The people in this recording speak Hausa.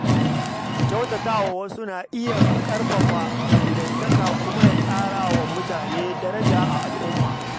Kyautata wa wasu na iya ƙarfafa dangantaka kuma ya ƙara wa mutum daraja a al’umma.